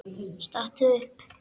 Stattu upp!